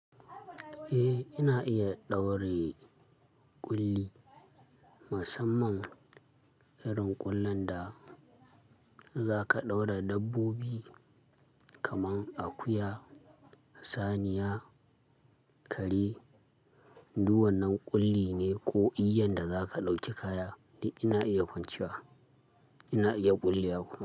Eh, ina iya ɗaure ƙulli, musamman irin ƙullan da zaka ɗaura dabbobi kaman akuya, saniya, kare. Duk wannan ƙulli ne ko iyyan da zaka ɗauki kaya da ina iya kwancewa, ina iya ƙullewa ku.